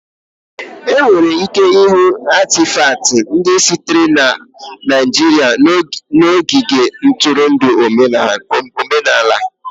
Enwere ike ịhụ Atịfatị ndị sitere na Naijiria n'ogige ntụrụndụ omenala